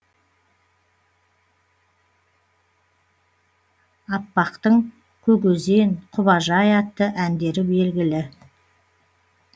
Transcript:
аппақтың көк өзен құбажай атты әндері белгілі